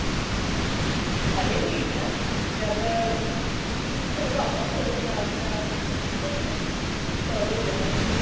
ਹਲੇ ਨੀ ਲਿੱਖਣਾ ਜਦ ਬਨਵਾਵਾਂਗੀ ਉਹਦੋ ਨਾਲ ਦੀ ਨਾਲ order ਦੇਵਾਂਗੇ ਫੇਰ